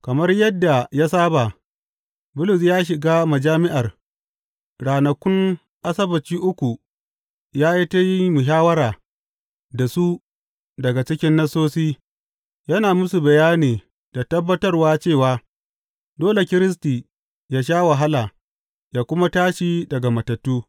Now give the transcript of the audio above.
Kamar yadda ya saba, Bulus ya shiga majami’ar, ranakun Asabbaci uku ya yi ta yin muhawwara da su daga cikin Nassosi, yana musu bayani da tabbatarwa cewa dole Kiristi ya sha wahala ya kuma tashi daga matattu.